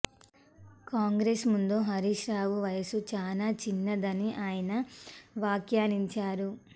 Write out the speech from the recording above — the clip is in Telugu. కాంగ్రెస్ ముందు హరీశ్ రావు వయసు చానా చిన్నదని ఆయన వ్యాఖ్యానించారు